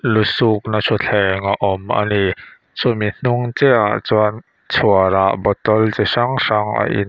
lu suk nâ chawthleng a awm ani chumi hnung chiaha ah chuan chhuar ah bottle chi hrang hrang a in--